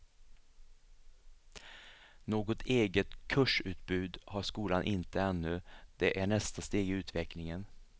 Något eget kursutbud har skolan inte ännu, det är nästa steg i utvecklingen.